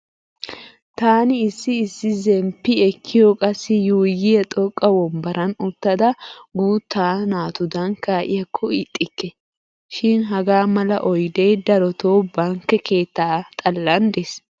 Taani issi issi zemppi ekkiyo qassi yuuyyiya xoqqa wombbaran uttada guutta naatudan kaa'iyakko ixxikke. Shin hagaa mala oydee darotoo bankke keetta xallan dees.